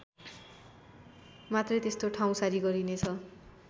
मात्रै त्यस्तो ठाउँसारी गरिने छ